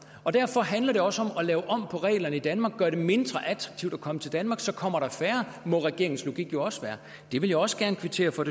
og derfor handler det også om at lave om på reglerne i danmark gøre det mindre attraktivt at komme til danmark for så kommer der færre må regeringens logik jo også være det vil jeg også gerne kvittere for